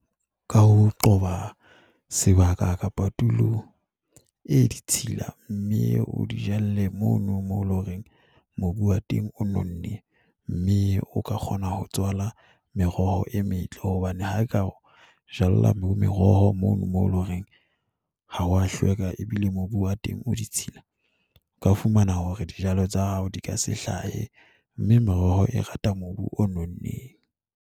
Ka ho qoba sebaka kapa tulo e ditshila, mme o di jalle mono mo leng hore mobu wa teng o nonne, mme o ka kgona ho tswala meroho e metle hobane ha eka o jala meroho mono moo e loreng ha ho a hlweka, ebile mobu wa teng o ditshila, o ka fumana hore dijalo tsa hao di ka se hlahe, mme meroho e rata mobu o nonneng.